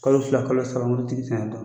Kalo fila kalo saramanitigi te n kan.